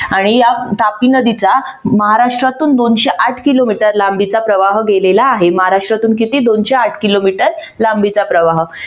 आणि या तापी नदीचा महाराष्ट्रातून दोनशे आठ किलोमीटर लांबीचा प्रवाह गेलेला आहे. महाराष्ट्रातून किती दोनशे आठ किलोमीटर लांबीचा प्रवाह